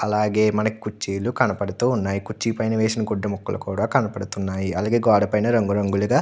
అలాగే మనకి కుర్చీలు కనపడుతూ ఉన్నాయి. కుర్చీ పైన వేసిన గుడ్డి ముక్కలు కూడా కనపడుతున్నాయి. అలాగే గోడ పైన రంగు రంగులుగా --